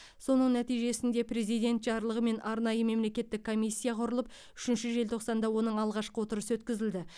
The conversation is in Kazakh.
соның нәтижесінде президент жарлығымен арнайы мемлекеттік комиссия құрылып үшінші желтоқсанда оның алғашқы отырысы өткізілді